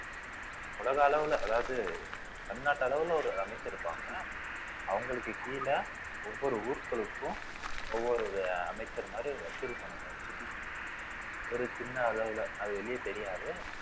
உலக அளவுல அதாவது தமிழ்நாட்டு அளவுல ஒரு அமைச்சர் இருப்பாங்க அவங்களுக்கு கீழ ஒவ்வொரு ஊர்களுக்கும் ஒவ்வொரு அமைச்சர் மாரி வசூல் ஒரு சின்ன அளவுல அது வெளிய தெரியாது